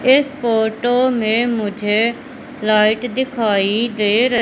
इस फोटो में मुझे लाइट दिखाई दे र--